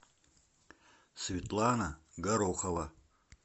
светлана горохова